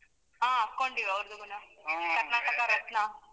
ಹಾ, ಹಾಕೋಂಡಿವಿ ಅವುರ್ದ್ ಕೂಡ ಕರ್ನಾಟಕ ರತ್ನ.